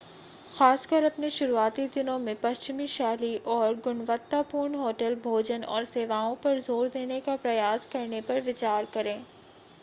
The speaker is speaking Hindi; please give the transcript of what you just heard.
खासकर अपने शुरुआती दिनों में पश्चिमी शैली और गुणवत्तापूर्ण होटल भोजन और सेवाओं पर जोर देने का प्रयास करने पर विचार करें